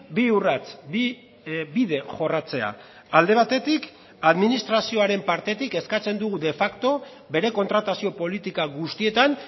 bi urrats bi bide jorratzea alde batetik administrazioaren partetik eskatzen dugu de facto bere kontratazio politika guztietan